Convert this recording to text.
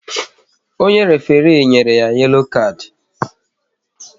Onye référé nyere ya yelo kard